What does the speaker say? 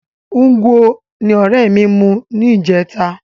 Ngwo ni ọrẹ mi mu yó ní ìjẹta